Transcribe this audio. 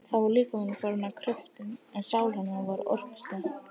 Þá var líkaminn farinn að kröftum, en sál hennar var orkustöð.